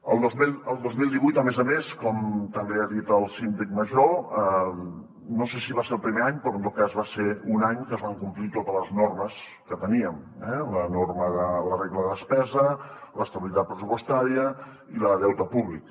el dos mil divuit a més a més com també ha dit el síndic major no sé si va ser el primer any però en tot cas va ser un any en què es van complir totes les normes que teníem eh la norma de la regla de despesa l’estabilitat pressupostària i la de deute públic